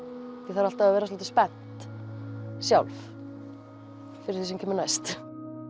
þarf alltaf að vera svolítið spennt sjálf fyrir því sem kemur næst